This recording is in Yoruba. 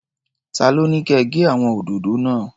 Ta ló ní kẹ gé àwọn òdòdó náà?